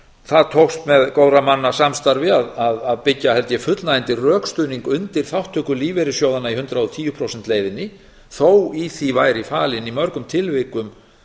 það tókst með góðra manna samstarfi að byggja held ég fullnægjandi rökstuðning undir þátttöku lífeyrissjóðanna í hundrað og tíu prósent leiðinni þó í því væri falin í mörgum tilvikum